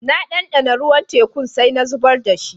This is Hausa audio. Na dandana ruwan tekun sai na zubar da shi.